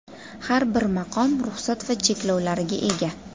Har bir maqom ruxsat va cheklovlariga ega.